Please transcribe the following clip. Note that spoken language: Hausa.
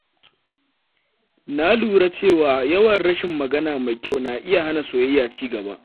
Na lura cewa yawan rashin magana mai kyau na iya hana soyayya cigaba.